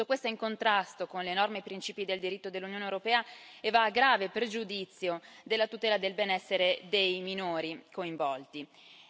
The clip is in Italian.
Tutto questo è in contrasto con le norme e i principi del diritto dell'Unione europea e va a grave pregiudizio della tutela del benessere dei minori coinvolti.